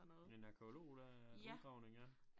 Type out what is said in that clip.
En en arkæolog der udgravning ja